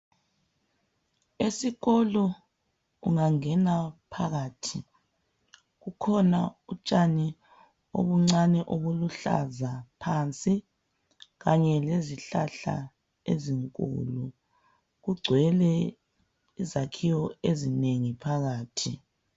Esikolo ungangena phakathi kukhona utshani obuncane obuluhlaza phansi kanye lezihlahla ezinkulu. Kugcwele izakhiwo ezinengi phakathi.